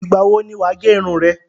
Ìgbà wo ni wà á gẹ irun re?